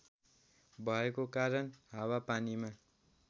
भएको कारण हावापानीमा